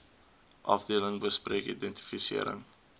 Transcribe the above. afdeling bespreek identifisering